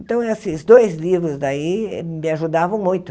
Então, esses dois livros daí me ajudavam muito.